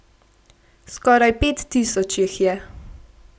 Skoraj pet tisoč jih je.